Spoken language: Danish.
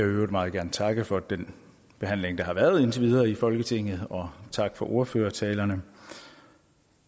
øvrigt meget gerne takke for den behandling der har været indtil videre i folketinget og takke for ordførertalerne